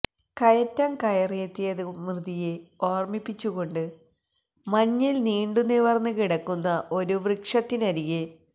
കയറ്റം കയറിയെത്തിയത് മൃതിയെ ഓര്മ്മിപ്പിച്ചുകൊണ്ട് മഞ്ഞില് നീണ്ടുനിവര്ന്നു കിടക്കുന്ന ഒരു വൃക്ഷത്തിനരികെ